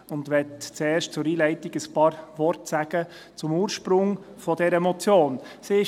Zuerst möchte ich zur Einleitung ein paar Worte zum Ursprung dieser Motion sagen.